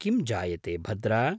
किं जायते भद्र!